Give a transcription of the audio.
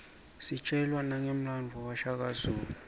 sitjelwa nangemlandvo washaka zulu